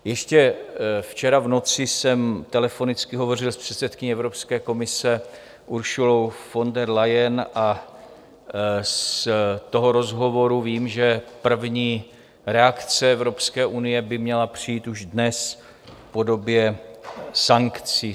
Ještě včera v noci jsem telefonicky hovořil s předsedkyní Evropské komise Ursulou von der Leyen a z toho rozhovoru vím, že první reakce Evropské unie by měla přijít už dnes v podobě sankcí.